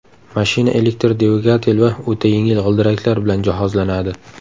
Mashina elektr dvigatel va o‘ta yengil g‘ildiraklar bilan jihozlanadi.